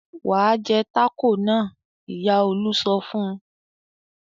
"Wà á jẹ tákò yẹn!" Ìyá Olú sọ fún un.